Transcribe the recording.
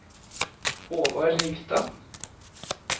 Håvard Ringstad